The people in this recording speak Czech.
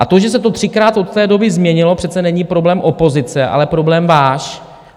A to, že se to třikrát od té doby změnilo, přece není problém opozice, ale problém váš.